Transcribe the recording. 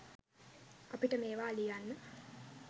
අපිට මේවා ලියන්න